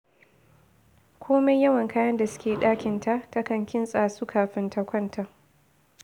Komai yawan kayan da suke ɗakinta, takan kintsa su kafin ta kwanta